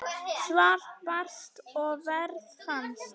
Svar barst og verð fannst.